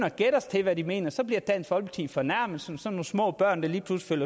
at gætte os til hvad de mener så bliver dansk folkeparti fornærmede som sådan nogle små børn der lige pludselig